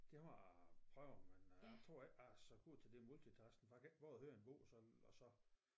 Det må jeg prøve men øh jeg tror ikke jeg er så god til det multitasking for jeg kan ikke både høre en bog og så og så